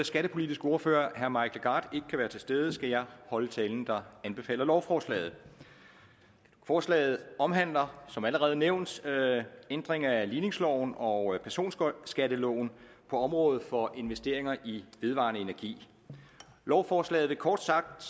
skattepolitiske ordfører herre mike legarth ikke kan være til stede skal jeg holde talen der anbefaler lovforslaget forslaget omhandler som allerede nævnt ændringer af ligningsloven og personskatteloven på området for investeringer i vedvarende energi lovforslaget vil kort sagt